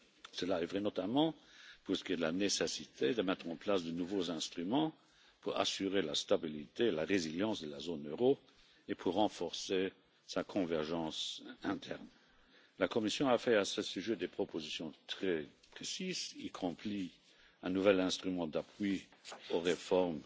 Cela est vrai, notamment, pour ce qui est de la nécessité de mettre en place de nouveaux instruments pour assurer la stabilité, la résilience de la zone euro et pour renforcer sa convergence interne. La Commission a fait à ce sujet des propositions très précises, y compris un nouvel instrument d'appui aux réformes